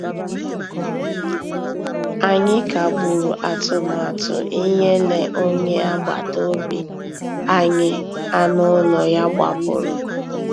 Ànyị́ kàgbùrụ́ àtụ̀màtụ́ ìnyélè ónyé àgbàtà òbí ànyị́ ànú ụ́lọ́ yá gbàpùrụ́.